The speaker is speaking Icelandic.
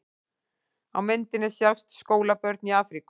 Á myndinni sjást skólabörn í Afríku.